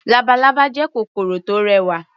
Labalábá jẹ́ kòkòrò tó rẹwà.